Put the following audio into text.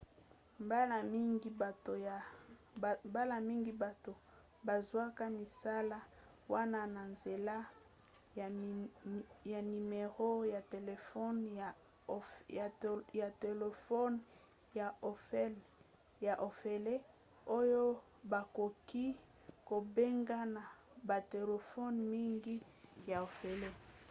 mbala mingi bato bazwaka misala wana na nzela ya nimero ya telefone ya ofele oyo bakoki kobenga na batelefone mingi ya ofele